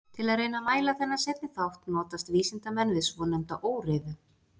Til að reyna að mæla þennan seinni þátt notast vísindamenn við svonefnda óreiðu.